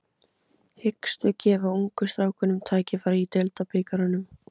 Hyggstu gefa ungu strákunum tækifæri í Deildabikarnum?